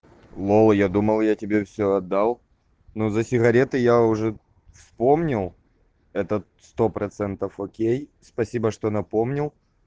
лол я думал я тебе все отдал но за сигареты я уже вспомнил этот сто процентов окей спасибо что напомнил